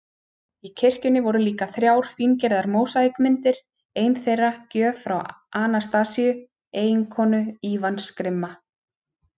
Í kirkjunni voru líka þrjár fíngerðar mósaíkmyndir, ein þeirra gjöf frá Anastasíu, eiginkonu Ívans grimma